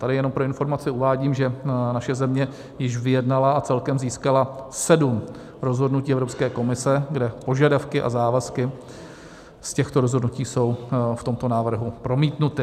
Tady jenom pro informaci uvádím, že naše země již vyjednala a celkem získala sedm rozhodnutí Evropské komise, kde požadavky a závazky z těchto rozhodnutí jsou v tomto návrhu promítnuty.